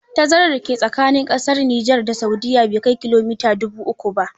Tazarar da ke tsakanin ƙasar Niger da Saudiya bai kai kilomita dubu uku ba.